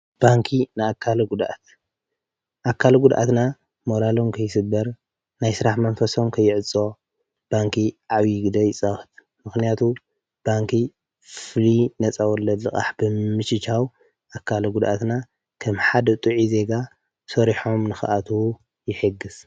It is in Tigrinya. ባንኪ ንኣካለ ጕዱኣት ኣካል ጕድኣትና መራሎም ከይስበር ናይ ስራሕ መንፈሶም ከይዕጾ ባንኪ ዓብዪግደ ይፃወት፡፡ ምኽንያቱ ባንኪ ፍልይ ነፃ ወለድ ልቓሕ ብምችቻው ኣካል ጕድኣትና ከም ሓደ ጥዑይ ዜጋ ሰሪሖም ንኽኣትው ይሕግዝ፡፡